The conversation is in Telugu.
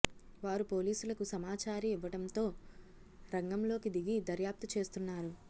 వారు పోలీసులకు సమాచారి ఇవ్వడంతో రంగంలోకి దిగి దర్యాప్తు చేస్తున్నారు